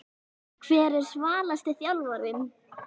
Hver er svalasti þjálfarinn?